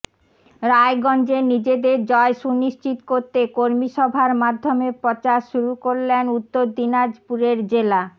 রায়গঞ্জে নিজেদের জয় সুনিশ্চিত করতে কর্মিসভার মাধ্যমে প্রচার শুরু করলেন উত্তর দিনাজপুরের জেলা